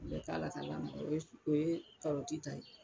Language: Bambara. U bɛ k'a la ka lamaga o ye karɔti ta ye.